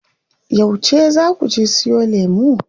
Yauce zaa kuje siyo lemu?